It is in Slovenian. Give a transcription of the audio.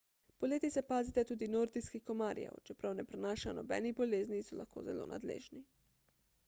poleti se pazite tudi nordijskih komarjev čeprav ne prenašajo nobenih bolezni so lahko zelo nadležni